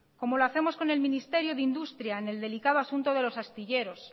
como lo hacemos con el ministerio de industria en el delicado asunto de los astilleros